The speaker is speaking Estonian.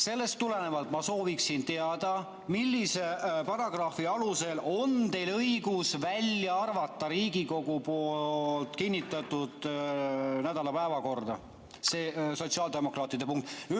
Sellest tulenevalt ma sooviksin teada, millise paragrahvi alusel on teil õigus välja arvata Riigikogu kinnitatud nädala päevakorrast see sotsiaaldemokraatide punkt.